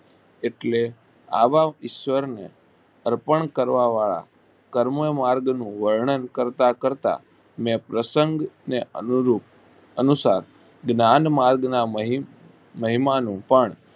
એટલે આવા ઈશ્વર ને અર્પણ કરવા વાળા કર્મ માર્ગ નું વર્ણન કરતા કરતા ને પ્રસંગને અનુરૂપ અનુશાસ જ્ઞાંગ માર્ગ માં મહીંન મહિમાનું પણ